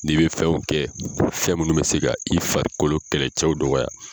N'i bɛ fɛnw kɛ fɛn minnu bɛ se ka i farikolo kɛlɛcɛw dɔgɔya